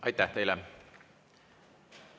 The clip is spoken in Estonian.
Aitäh teile!